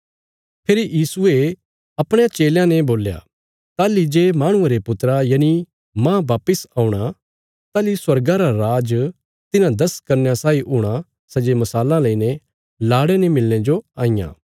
फेरी यीशुये अपणयां चेलयां ने बोल्या ताहली जे माहणुये रे पुत्रा यनि मांह वापस औणा ताहली स्वर्गा रा राज तिन्हां दस कन्यां साई हूणा सै जे मशालां लेईने लाड़े ने मिलणे जो आईयां